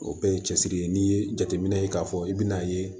O bɛɛ ye cɛsiri ye n'i ye jateminɛ ye k'a fɔ i bɛn'a ye